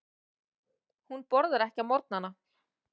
Hún borðar ekki á morgnana.